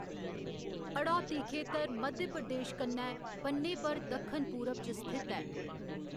हड़ौती खेतर मध्य प्रदेश कन्नै बन्ने पर दक्खन पूरब च स्थित ऐ।